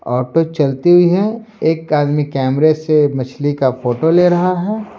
Auto चलती हुई है एक आदमी कैमरे से मछली का फोटो ले रहा है।